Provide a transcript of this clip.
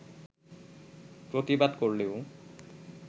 প্রতিবাদ করলেও